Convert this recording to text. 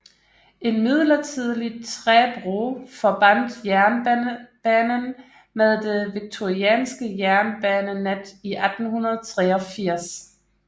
En midlertidig træbro forbandt jernbanen med det victorianske jernbanenet i 1883